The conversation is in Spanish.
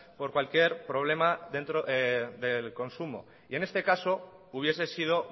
por cualquier problema dentro del consumo en este caso hubiese sido